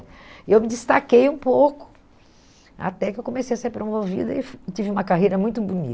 E eu me destaquei um pouco, até que eu comecei a ser promovida e e tive uma carreira muito bonita.